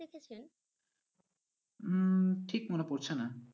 উম ঠিক মনে পড়ছে না।